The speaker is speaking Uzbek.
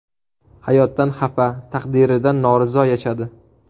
Hayotdan xafa, taqdiridan norizo yashadi.